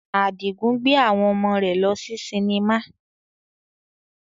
Adigun gbe awon omo re lo si sinima